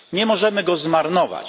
Nie możemy go zmarnować.